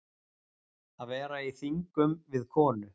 Að vera í þingum við konu